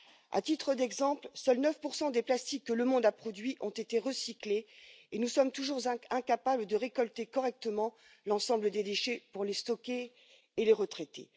À titre d'exemple, seuls 9 des plastiques que le monde a produits ont été recyclés et nous sommes toujours incapables de récolter correctement l'ensemble des déchets pour les stocker et les retraiter.